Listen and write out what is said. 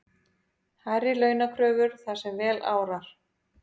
Hærri launakröfur þar sem vel árar